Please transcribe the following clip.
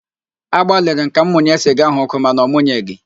Agbalịrị m ka m munye siga ahụ ọkụ mana ọmụnyeghị